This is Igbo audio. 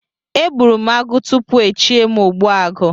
E gburu m agụ tupu echie m ogbuagu